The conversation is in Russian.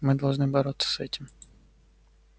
мы должны бороться с этим